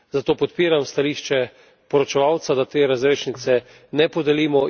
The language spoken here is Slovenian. Zato podpiram stališče poročevalca, da te razrešnice ne podelimo.